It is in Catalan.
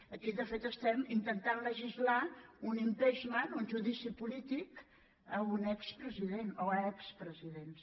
aquí de fet estem intentant legislar un impeach ment un judici polític a un expresident o expresidents